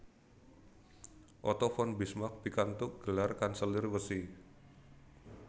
Otto von Bismarck pikantuk gelar Kanselir Wesi